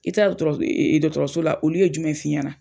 I taa dɔɔtɔrɔs dɔɔtɔrɔso la olu ye jumɛn f'i ɲana?